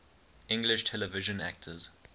english television actors